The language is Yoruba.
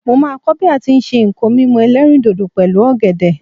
mo ma ko bi a ti n se nko mímu elerindodo pẹlu ògèdè